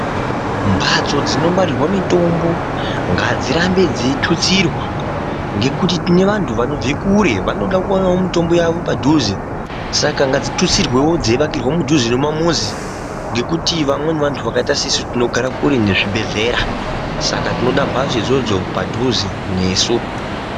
Mphatso dzinongwarirwa mitombo ngadzirambe dzeitutsirwa ngekuti tine vantu vanobva kure vanoda kuwanawo mitombo yavo padhuze, saka ngadzitutsirwewo dzeivakirwa mudhuze nemumamuzi ngekuti vamweni vantu zvakaita sesu tinogara kure nezvibhedhlera saka tinoda mphatso idzodzo padhuze nesu.